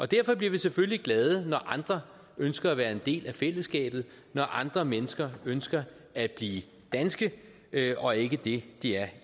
derfor bliver vi selvfølgelig glade når andre ønsker at være en del af fællesskabet når andre mennesker ønsker at blive danske og ikke det de er